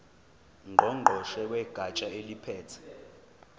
ngqongqoshe wegatsha eliphethe